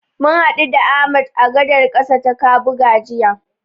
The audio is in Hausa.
Mun haɗu da Ahmad a gadar ƙasa ta Kabuga jiya.